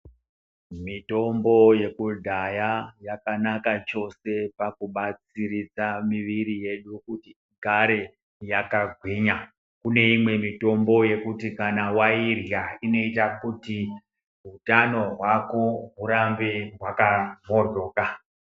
Mitombo yekudhaya yakanaka chose pakubatsiridza mwiri yedu kuti igare yakagwinya kuneimwe mitombo yekuti kana wairya inoita kuti hutano hwako hurambe hwaka hohloka.